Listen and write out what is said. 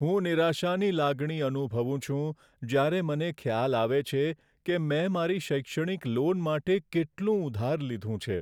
હું નિરાશાની લાગણી અનુભવું છું જ્યારે મને ખ્યાલ આવે છે કે મેં મારી શૈક્ષણિક લોન માટે કેટલું ઉધાર લીધું છે.